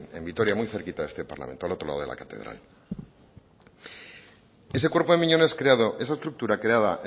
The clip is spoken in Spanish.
en vitoria muy cerquita de este parlamento al otro lado de la catedral ese cuerpo de miñones creado esa estructura creada